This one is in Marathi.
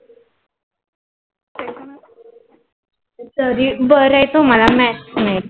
तरी बर आहे तुम्हाला math नाही.